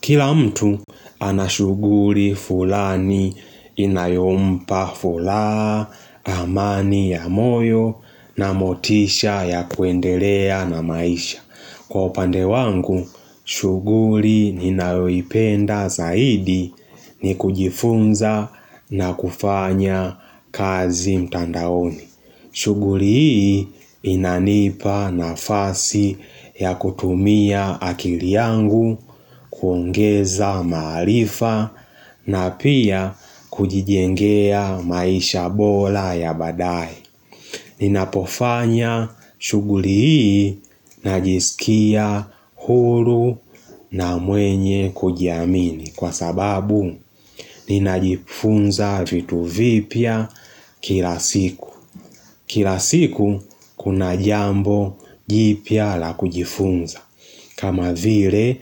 Kila mtu anashuguli fulani inayompa furaha amani ya moyo na motisha ya kuendelea na maisha. Kwa upande wangu, shughuli ni ninayoipenda zaidi ni kujifunza na kufanya kazi mtandaoni. Shughuli hii inanipa nafasi ya kutumia akili yangu kuongeza maarifa na pia kujijengea maisha bora ya badaaye. Ninapofanya shughuli hii najisikia huru na mwenye kujiamini kwa sababu ninajifunza vitu vipya kila siku. Kila siku kuna jambo jipya la kujifunza. Kama vile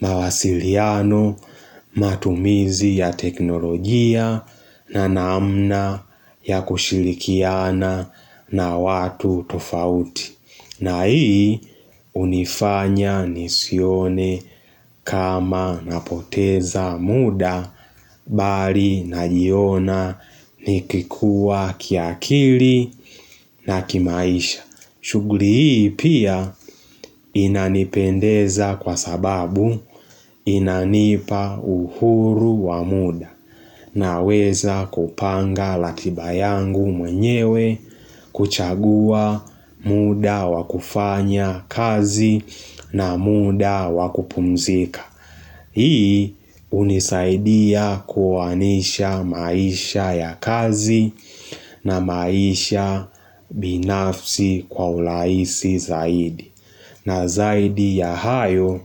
mawasiliano matumizi ya teknolojia na namna ya kushirikiana na watu tofauti. Na hii unifanya nisione kama napoteza muda mbali najiona nikikua kiakili na kimaisha. Shughuli hii pia inanipendeza kwa sababu inanipa uhuru wa muda naweza kupanga ratiba yangu mwenyewe kuchagua muda wakufanya kazi na muda wakupumzika. Hii hunisaidia kuwanisha maisha ya kazi na maisha binafsi kwa urahisi zaidi. Na zaidi ya hayo,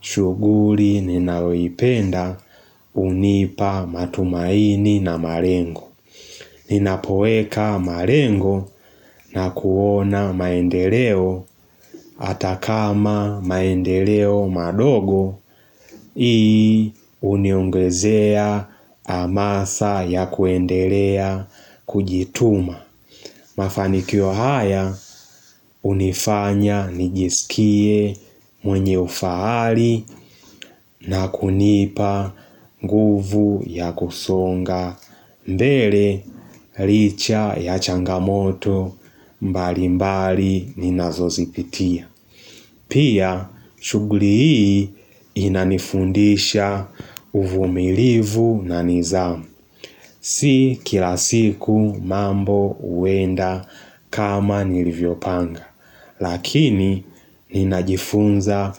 shughuli ninayoipenda hunipa matumaini na malengo. Ninapoeka malengo na kuona maendeleo atakama maendeleo madogo. Hii huniongezea amasa ya kuendelea kujituma Mafanikio haya hunifanya nijisikie mwenye ufahari na kunipa nguvu ya kusonga mbele licha ya changamoto mbali mbali ninazo zipitia Pia, shuguli hii inanifundisha uvumilivu na nidhamu Si kila siku mambo huenda kama nilivyo panga Lakini, ninajifunza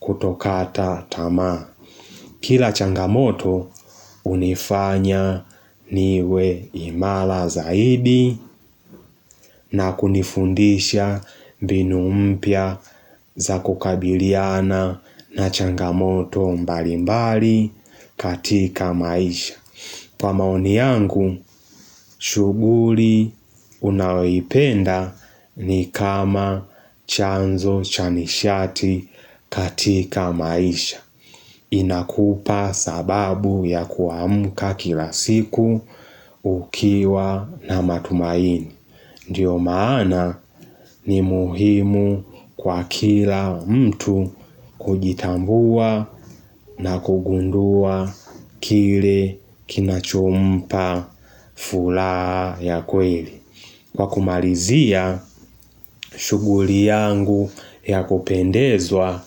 kutokata tama Kila changamoto, unifanya niwe imara zaidi na kunifundisha mbinu mpya za kukabiliana na changamoto mbali mbali katika maisha kwa maoni yangu, shughuli unayoipenda ni kama chanzo cha nishati katika maisha inakupa sababu ya kuamka kila siku ukiwa na matumaini Ndiyo maana ni muhimu kwa kila mtu kujitambua na kugundua kile kinachompa furaha ya kweli. Kwa kumalizia, shughuli yangu ya kupendezwa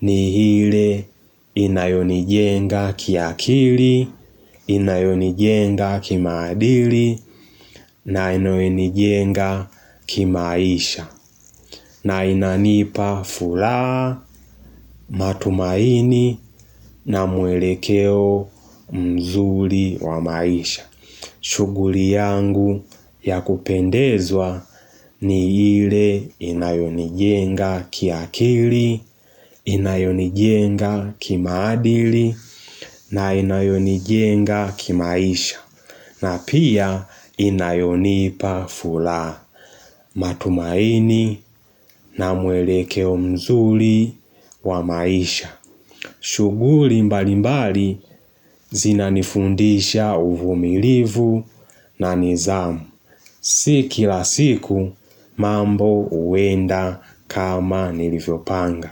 ni ile inayonijenga kiakili, inayonijenga kimaadili na inayonijenga kimaisha. Na inanipa furaha matumaini na mwelekeo mzuri wa maisha shughuli yangu ya kupendezwa ni ile inayonijenga kiakili, inayonijenga kimaadili na inayonijenga kimaisha na pia inayonipa furaha matumaini na mwelekeo mzuri wa maisha. Shughuli mbali mbali zinanifundisha uvumilivu na nidhamu. Si kila siku mambo huenda kama nilivyopanga.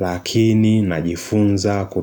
Lakini najifunza ku.